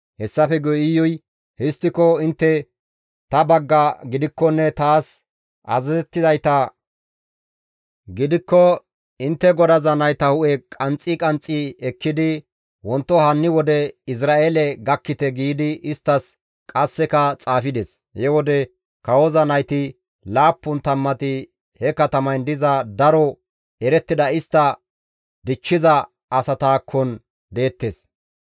Hessafe guye Iyuy, «Histtiko intte ta bagga gidikkonne taas azazettizayta gidikko intte godaza nayta hu7e qanxxi qanxxi ekkidi wonto hanni wode Izra7eele gakkite» giidi isttas qasseka xaafides. He wode kawoza nayti laappun tammati he katamayn diza daro erettida istta dichchiza asataakkon deettes.